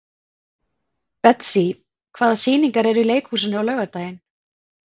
Betsý, hvaða sýningar eru í leikhúsinu á laugardaginn?